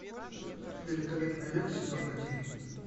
великолепный век сезон один